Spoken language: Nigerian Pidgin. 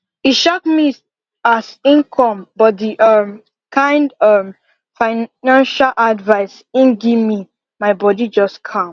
e shock me as im come but the um kind um financial advice him gimme my bodi just calm